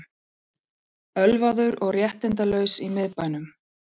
Ölvaður og réttindalaus í miðbænum